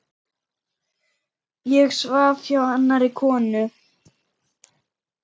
Ég svaf hjá annarri konu.